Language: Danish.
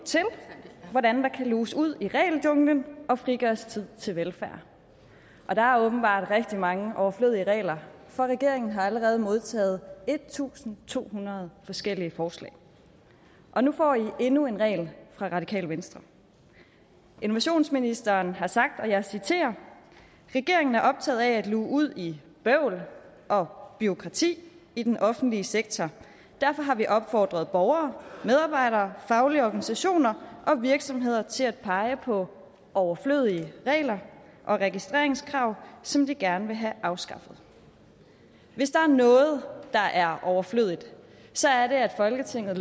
til hvordan der kan luges ud i regeljunglen og frigøres tid til velfærd og der er åbenbart rigtig mange overflødige regler for regeringen har allerede modtaget en tusind to hundrede forskellige forslag og nu får i endnu en regel fra radikale venstre innovationsministeren har sagt og jeg citerer regeringen er optaget af at luge ud i bøvl og bureaukrati i den offentlige sektor derfor har vi opfordret borgere medarbejdere faglige organisationer og virksomheder til at pege på overflødige regler og registreringskrav som de gerne vil have afskaffet hvis der er noget der er overflødigt så er det at folketinget